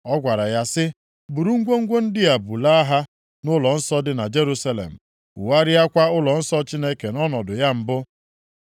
Ọ gwara ya sị, ‘buru ngwongwo ndị a bulaa ha nʼụlọnsọ dị na Jerusalem, wugharịakwa ụlọnsọ Chineke nʼọnọdụ ya mbụ.’